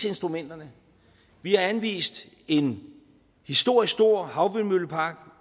instrumenterne vi har anvist en historisk stor havvindmøllepark